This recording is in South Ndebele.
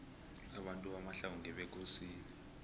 abantu bakwamahlangu ngebekosini